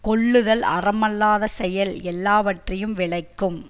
கொல்லுதல் அறமல்லாத செயல் எல்லாவற்றையும் விளைக்கும்